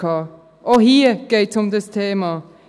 Auch hier geht es um dieses Thema.